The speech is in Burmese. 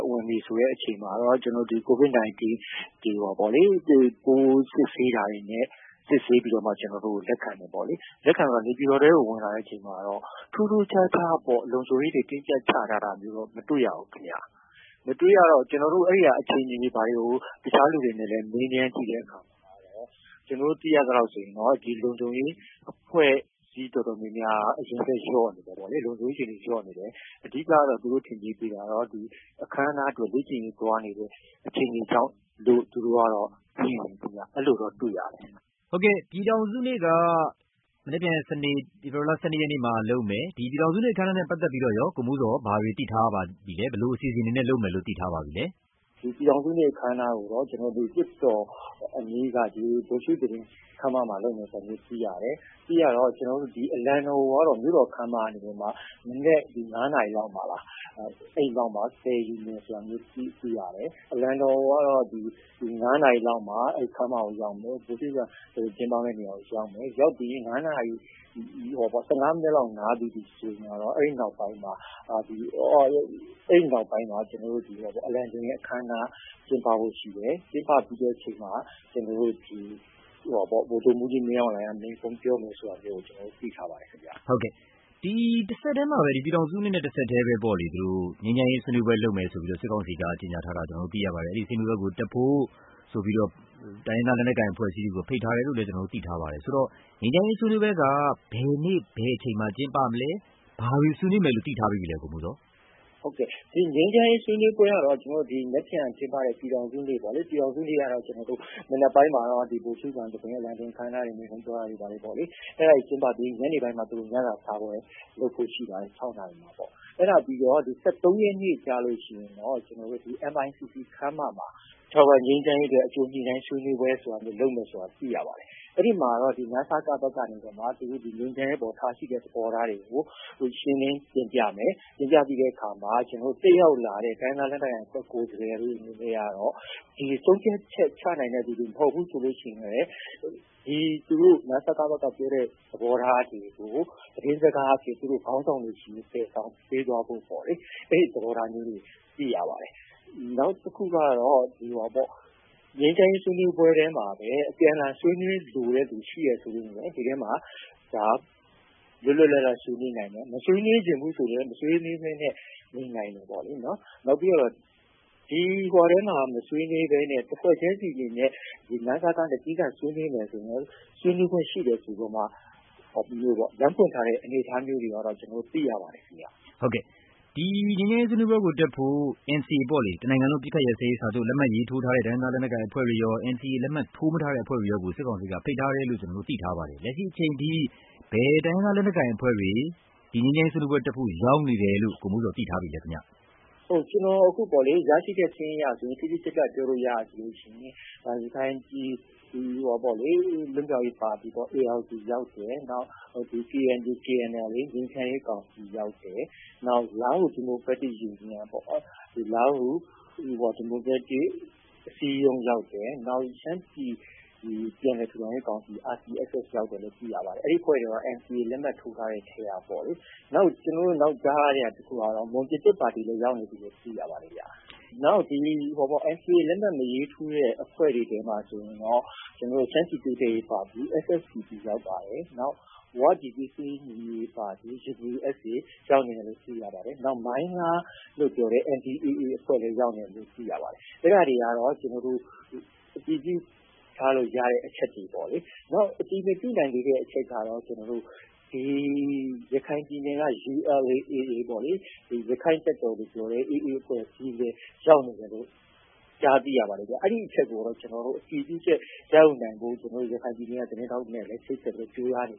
ဝင်ပြီဆိုတဲ့အချိန်မှာတော့ ကိုဗစ်-၁၉ ပိုးစစ်ဆေးတာတွေနဲ့ စစ်ဆေးပြီးတော့မှ ကျနော်တို့ကို လက်ခံတယ်ပေါ့လေ။ လက်ခံပြီး နေပြည်တော်ထဲကို ဝင်လာတဲ့အချိန်မှာတော့ ထူးထူးခြားခြားပေါ့-လုံခြုံရေးတွေ တင်းကျပ်ချထားတာတော့ မတွေ့ရဘူးခင်ဗျ။ မတွေ့ရတော့ အခြေအနေတွေကို တခြားလူတွေနဲ့လည်း မေးမြန်းကြည့်တဲ့အခါမှာ ကျနော်တို့သိရသလောက်ဆိုရင်တော့ ဒီလုံခြုံရေးအဖွဲ့အစည်းအတော်များများက အရေအတွက်လျော့နေတယ်ပေါ့လေ။ လုံခြုံရေးအခြေအနေလျော့နေတယ်။ အဓိက ကတော့ သူတို့ထင်ကြေးပေးကြတာကတော့ အခမ်းအနားအတွက် လေ့ကျင့်ရေးသွားနေတဲ့ အခြေအနေကြောင့်လို့ သူတို့ကတော့....အဲလိုတော့ တွေ့ရတယ်။ မေး။ ။ ဟုတ်ကဲ့၊ ပြည်ထောင်စုနေ့က မနက်ဖြန် စနေနေ့ ဖေဖေါ်ဝါရီလ ၁၂ ရက်နေ့မှာလုပ်မယ်။ ဒီပြည် ထောင်စုနေ့ အခမ်းအနားနဲ့ပတ်သက်ပြီးတော့ကော ကိုမိုးဇော် ဘာတွေ သိထားရပါလဲ။ ဘယ်လိုအစီအစဉ်တွေနဲ့လုပ်မယ်လို့ သိထားပါပြီလဲ။ ဖြေ။ ။ ပြည်ထောင်စုနေ့ အခမ်းအနားကိုတော့ လွှတ်တော်အနီးက ဗိုလ်ရှုသဘင်ခမ်းမမှာလုပ်မယ်ဆိုတာမျိုး သိရတယ်။ အလံတော်ကိုကတော့ လွှတ်တော်ခမ်းမကနေပြီးတော့မှ မနက် ၅ နာရီလောက်မှာ... အဲဒီလောက်မှာ သယ်ယူမယ်ဆိုတာမျိုးသိရတယ်။ အလံတော်ကတော့ ၅ နာရီလောက်မှာ အဲဒီခမ်းမကိုရောက်မယ်။ ဗိုလ်ရှုသဘင်ကျင်းပမယ့်နေရာကို ရောက်မယ်။ ရောက်ပြီး ၁၅ မိနစ်လောက်နားပြီးပြီဆိုရင်တော့ အဲဒီနောက်ပိုင်းမှာ အလံတင်တဲ့အခမ်းအနား ကျင်းပဖို့ရှိတယ်။ ကျင်းပပြီးတဲ့အချိန်မှာ ဗိုလ်ချုပ်မှူးကြီးမင်းအောင်လှိုင်က မိန့်ခွန်းပြောမယ်ဆိုတာမျိုးကို ကျနော်တို့ သိထားပါတယ်ခင်ဗျ။ မေး။ ။ ဟုတ်ကဲ့၊ ပြည်ထောင်စုနေ့နဲ့တဆက်တည်းပဲပေါ့လေ၊ ငြိမ်းချမ်းရေးဆွေးနွေးပွဲလုပ်မယ်လို့ စစ်ကောင်စီက ကြေညာထားတာ သိရပါတယ်။ အဲဒီဆွေးနွေးပွဲကိုတက်ဖို့ ဆိုပြီးတော့ တိုင်းရင်းသားလက်နက်ကိုင် အဖွဲ့အစည်းတွေကို ဖိတ်ထားတယ်လို့လည်း ကျနော်တို့သိထားပါတယ်။..ဆိုတော့ ငြိမ်းချမ်းရေးဆွေးနွေးပွဲက ဘယ်နေ့၊ ဘယ်အချိန်မှာကျင်းပမလဲ။ ဘာတွေ ဆွေးနွေးမယ်လို့ သိထားပြီးပြီလဲ ကိုမိုးဇော်။ ဖြေ။ ။ ဟုတ်ကဲ့၊ ငြိမ်းချမ်းရေး ဆွေးနွေးပွဲကတော့ မနက်ဖြန်ကျင်းပတဲ့ ပြည်ထောင်စုနေ့ပေါ့လေ၊ ပြည်ထောင်စုနေ့ကတော့ မနက်ပိုင်းမှာတော့ ဗိုလ်ရှုခံသဘင်၊ အလံတင်အခမ်းအနားတွေနဲ့ မိန့်ခွန်းပြောတာတွေပေါ့လေ၊ အဲဒါတွေကျင်းပပြီးရင် ညနေပိုင်းမှာ သူတို့ ညစာစားပွဲလုပ်ဖို့ရှိပါတယ်။ ၆ နာရီမှာ။ အဲဒါပြီးတော့ ၁၃ ရက်နေ့ကျလို့ရှိရင်တော့ MICC ခမ်းမမှာ ထာဝရငြိမ်းချမ်းရေးအတွက် အကြိုညှိနှိုင်းဆွေးနွေးပွဲဆိုတာမျိုး လုပ်မယ်ဆိုတာ သိရပါတယ်။ အဲဒီမှာတော့ နစက ဘက်ကနေပြီးတော့ ငြိမ်းချမ်းရေးအပေါ်ထားရှိတဲ့ သဘောထားတွေကို ရှင်းလင်းတင်ပြမယ်။ တင်ပြပြီးတဲ့အခါမှာ တက်ရောက်လာတဲ့ တိုင်းရင်းသားလက်နက် ကိုင်အဖွဲ့ ကိုယ်စားလှယ်တွေအနေနဲ့ကတော့ ဆုံးဖြတ်ချက်ချနိုင်တဲ့သူတွေ မဟုတ်ဘူးဆိုလို့ရှိရင်လည်း နစကဘက်ကပြောတဲ့သဘောထားတွေကို သတင်းစကားအဖြစ် သူတို့ခေါင်းဆောင်တွေဆီကို သယ်ဆောင်ပေးသွားဖို့ပေါ့လေ။ အဲဒီသဘောထားမျိုးတွေ သိရပါတယ်။ နောက်တခုကတော့ ငြိမ်းချမ်းရေး ဆွေးနွေးပွဲထဲမှာပဲ အပြန်အလှန်ဆွေးနွေးလိုတဲ့သူ ရှိတယ်ဆိုရင်လည်း ဒီထဲမှာ လွတ်လွတ်လပ်လပ်ဆွေးနွေးနိုင်တယ်။ မဆွေးနွေးချင်ဘူးဆိုရင်လည်း မဆွေးနွေးဘဲနဲ့ နေနိုင်တယ်ပေါ့လေ၊ နော်။ နောက်ပြီးတော့ ဒီထဲမှာမဆွေးနွေးဘဲနဲ့ တဖွဲ့ချင်းစီအနေနဲ့ နစကနဲ့သီးသန့်ဆွေးနွေးမယ်ဆိုရင်လည်း ဆွေးနွေးခွင့်ရှိတယ်ဆိုပြီးတော့မှ လမ်းဖွင့်ထားတဲ့အနေအထားမျိုးတွေကတော့ ကျနော်တို့ သိရပါတယ်ခင်ဗျ။ မေး။ ။ ဟုတ်ကဲ့။ ဒီ ငြိမ်းချမ်းရေးဆွေးနွေးပွဲတွေကိုတက်ဖို့ NCA ပေါ့လေ၊ တနိုင်ငံလုံးအပစ်အခတ်ရပ်စဲရေးလက်မှတ်ရေးထိုးထားတဲ့ တိုင်းရင်းသားလက်နက်ကိုင်အဖွဲ့တွေရော၊ NCA လက်မှတ်မထိုးထားတဲ့အဖွဲ့တွေရော စစ်ကောင်စီက ဖိတ်ထားတယ်လို့ သိထားပါတယ်။ လက်ရှိအချိန်အထိ ဘယ်တိုင်းရင်းသားလက်နက်ကိုင်အဖွဲ့တွေ ဒီ ငြိမ်းချမ်းရေးဆွေးနွေးပွဲ တက်ဖို့ရောက်နေတယ်လို့ ကိုမိုးဇော် သိထားပြီလဲ ခင်ဗျ။ ဖြေ။ ။ ဟုတ်ကဲ့၊ ကျနော်အခု ရရှိထားတဲ့စာရင်းအရ တိတိကျကျပြောလို့ရတာဆိုလို့ရှိရင် ရခိုင်ပြည် လွတ်မြောက်ရေးပါတီ ရောက်တယ်။ နောက် KNU-KNLA ငြိမ်းချမ်းရေးကောင်စီရောက်တယ်။ နောက် လားဟူ ဒီမိုကရက်တစ်ယူနီယံ၊ လားဟူ ဒီမိုကရက်တစ်အစည်းအရုံး ရောက်တယ်။ နောက် ရှမ်းပြည် ပြန်လည်ထူထောင်ရေးကောင်စီ ရောက်တယ်လို့ သိရပါတယ်။ အဲဒီအဖွဲ့တွေက NCA လက်မှတ်ထိုးထားတဲ့အဖွဲ့တွေထဲကပေါ့လေ။ နောက် ကျနော်တို့ကြားတာတခုကတော့ မွန်ပြည်သစ်ပါတီလည်း ရောက်နေပြီလို့ သိရပါတယ်ဗျ။ နောက် NCA လက်မှတ်မထိုးထားတဲ့အဖွဲ့တွေထဲမှာဆိုရင်တော့ ရှမ်းပြည်တိုးတက်ရေးပါတီ ရောက်ပါတယ်။ ဝပြည်သွေးစည်းညီညွတ်ရေးပါတီ ရောက်နေတယ်လို့ သိရပါတယ်။ နောက် မိုင်းလားလို့ခေါ်တဲ့ အဖွဲ့လည်းရောက်နေပါတယ်။ အဲဒါတွေကတော့ ကျနော်တို့ အတည်ပြုထားလို့ရတဲ့အချက်တွေပေါ့လေ။ နောက် အတည်မပြုနိုင်သေးတဲ့အချက်က ရခိုင်ပြည်နယ်က ပေါ့လေ၊ ရခိုင့်တပ်တော်လို့ပြောတဲ့ AA လည်းရောက်နေတယ်လို့ ကြားသိရပါတယ်ဗျ။ အဲဒီအချက်ကိုတော့ ကျနော်တို့အတည်ပြုချက်ရယူနိုင်ဖို့ ရခိုင်ပြည်နယ်ကသတင်းထောက်နဲ့လည်း ချိတ်ဆက်ပြီးတော့ ကြိုးစားနေ